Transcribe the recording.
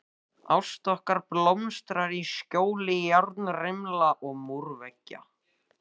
Ást okkar blómstrar í skjóli járnrimla og múrveggja.